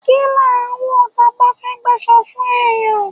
Ki n lá ń wọ, taba ba fé gbaso fun eyán?